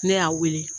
Ne y'a wele